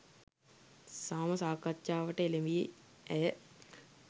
සාම සාකච්ඡාවකට එළැඹි ඇය